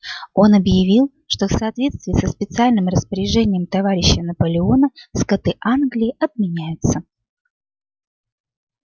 он объявил что в соответствии со специальным распоряжением товарища наполеона скоты англии отменяются